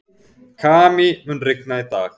Kamí, mun rigna í dag?